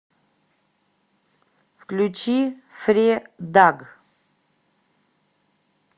включи фредаг